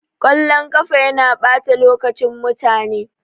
Kallon ƙafa yana ɓata lokacin mutane.